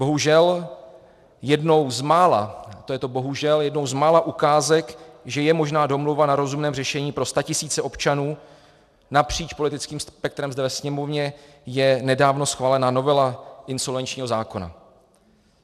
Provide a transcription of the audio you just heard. Bohužel, jednou z mála, to je to bohužel, jednou z mála ukázek, že je možná domluva na rozumném řešení pro statisíce občanů napříč politickým spektrem zde ve Sněmovně, je nedávno schválená novela insolvenčního zákona.